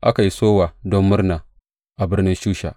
Aka yi sowa don murna a birnin Shusha.